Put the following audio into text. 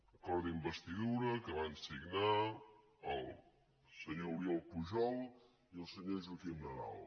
acord d’investidura que van signar el senyor oriol pujol i el senyor joaquim nadal